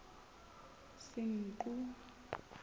senqu